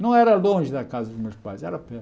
Não era longe da casa dos meus pais, era perto.